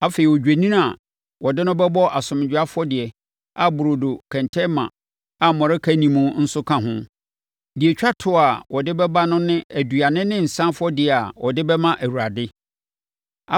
afei, odwennini a wɔde no bɛbɔ asomdwoeɛ afɔdeɛ a burodo kɛntɛnma a mmɔreka nni mu nso ka ho. Na deɛ ɛtwa toɔ a ɔde bɛba no ne aduane ne nsã afɔdeɛ a ɔde bɛma Awurade.